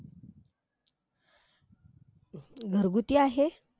घरगुती आहे?